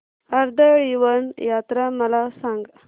कर्दळीवन यात्रा मला सांग